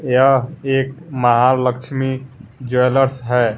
यह एक महालक्ष्मी ज्वेलर्स है।